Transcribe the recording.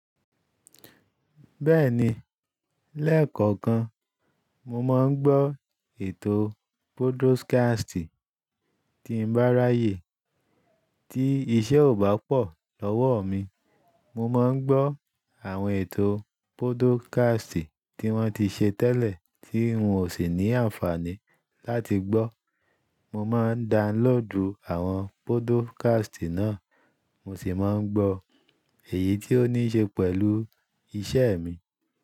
Bẹ́ẹ̀ni, lẹ́kọ̀ọ̀kan mo máa ń gbọ́ ètò pódúkásítì. Tí n bá ráyè tí iṣẹ́ ò bá pọ̀ lọ́wọ́ mi, mo máa ń gbọ́ àwọn ètò pódúkásítì tí wọ́n ti ṣe tẹ́lẹ̀ tí n ò sì ní àǹfààní láti gbọ́. Mo máa ń download àwọn pódúkásítì náà, mo sì máa ń gbọ́ èyí tí ó ní ṣe pẹ̀lú iṣẹ́ mi.